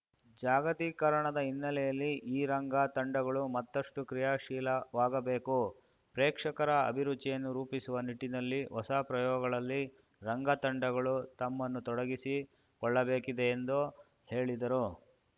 ಜಾಗತೀಕರಣದ ಹಿನ್ನೆಲೆಯಲ್ಲಿ ಈ ರಂಗ ತಂಡಗಳು ಮತ್ತಷ್ಟುಕ್ರಿಯಾಶೀಲವಾಗ ಬೇಕು ಪ್ರೇಕ್ಷಕರ ಅಭಿರುಚಿಯನ್ನು ರೂಪಿಸುವ ನಿಟ್ಟಿನಲ್ಲಿ ಹೊಸ ಪ್ರಯೋಗಗಳಲ್ಲಿ ರಂಗ ತಂಡಗಳು ತಮ್ಮನ್ನು ತೊಡಗಿಸಿ ಕೊಳ್ಳಬೇಕಿದೆ ಎಂದು ಹೇಳಿದರು